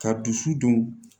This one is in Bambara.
Ka dusu dun